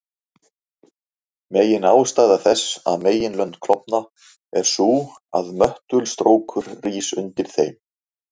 Meginástæða þess að meginlönd klofna er sú að möttulstrókur rís undir þeim.